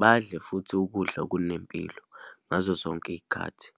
badle futhi ukudla okunempilo ngazo zonke iyikhathi.